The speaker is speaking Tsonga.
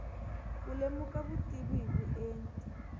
ku lemuka vutivi hi vuenti